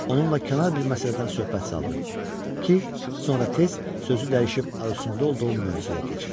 Onunla kənar bir məsələdən söhbət saldım ki, sonra tez sözü dəyişib arzusunda olduğum mövzuya keçim.